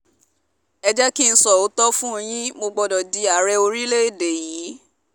ẹ jẹ́ kí n sọ tòótọ́ fún yín mo gbọ́dọ̀ di ààrẹ yìí